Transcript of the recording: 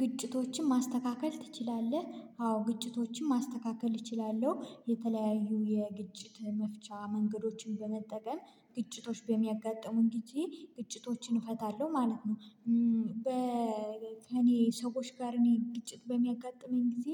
ግጭቶችን ማስተካከል ትችላለህ አዎ ግጭቶችን ማስተካከል እችላለሁ የተለያዩ የግጭት መፍቻ መንገዶችን በመጠቀም ግጭቶች በሚያጋጥሙን ግዜ ግጭቶችን እፈታለሁ ማለት ነው። በ ከእኔ ሰዎች ጋር እኔ ግጭት በሚያጋጥመኝ ጊዜ።